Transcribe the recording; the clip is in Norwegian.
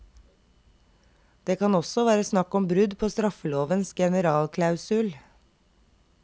Det kan også være snakk om brudd på straffelovens generalklausul.